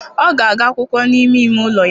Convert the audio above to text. Ọ ga-agụ akwụkwọ n'ime ime ụlọ ya.